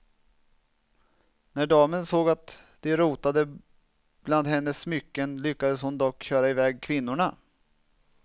När damen såg att de rotade bland hennes smycken lyckades hon dock köra iväg kvinnorna.